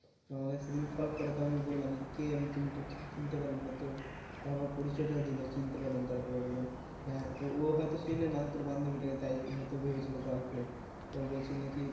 আমাকে সেইদিন call করে তো আমি বললাম যে কে, আমি তো ঠিক চিনতে পারলাম না তো তারপর পরিচয় টা দিলো চিনতে পারলাম তারপরে বললাম হ্যাঁ, তো ও হয়তো চেনেনা তোর বান্ধবী টাকে তাই হয়তো ভেবেছিলো girlfriend তো বলছিলো নাকি